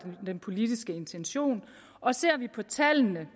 den politiske intention og ser vi på tallene